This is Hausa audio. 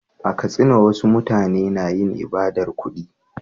A Katsina, wasu mutane na yin ibadar kudi.